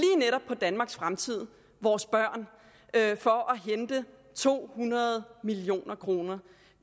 netop danmarks fremtid vores børn for at hente to hundrede million kroner